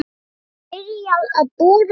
Var byrjað að bora þar